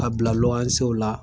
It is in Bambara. Ka bila la.